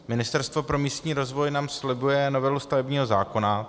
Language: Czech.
Ministerstvo pro místní rozvoj nám slibuje novelu stavebního zákona.